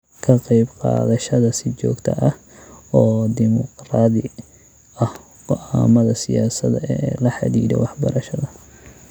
Ka qaybqaadashada si joogto ah oo dimuqraadi ah go'aamada siyaasadda ee la xidhiidha waxbarashada.